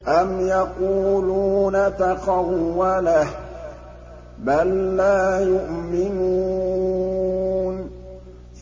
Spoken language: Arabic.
أَمْ يَقُولُونَ تَقَوَّلَهُ ۚ بَل لَّا يُؤْمِنُونَ